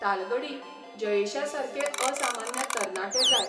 तालगडी जयेशासारके असामान्य तरणाटे जाय